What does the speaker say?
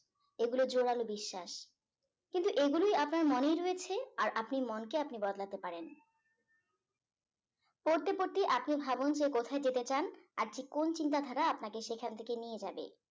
এগুলো জোরালো বিশ্বাস কিন্তু এগুলোই আপনার মনেই রয়েছে আর আপনি মনকে আপনি বদলাতে পারেন পড়তে পড়তেই আপনি ভাবুন যে কোথায় যেতে চান আর কোন চিন্তাধারা আপনাকে সেখান থেকে নিয়ে যাবে